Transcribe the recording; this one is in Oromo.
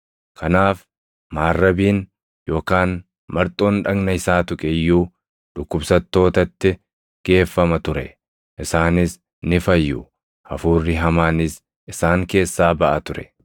Kanaaf maarrabiin yookaan marxoon dhagna isaa tuqe iyyuu dhukkubsattootatti geeffama ture; isaanis ni fayyu; hafuurri hamaanis isaan keessaa baʼa ture.